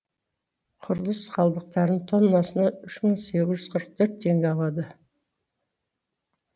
құрылыс қалдықтарының тоннасына үш мың сегіз жүз қырық төрт теңге алады